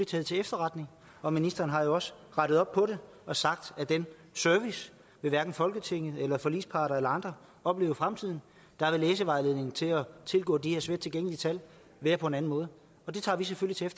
taget til efterretning og ministeren har jo også rettet op på det og sagt at den service vil hverken folketinget forligsparter eller andre opleve i fremtiden der vil læsevejledningen til at tilgå de her svært tilgængelige tal være på en anden måde og det tager vi selvfølgelig